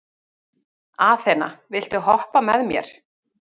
Aþena, viltu hoppa með mér?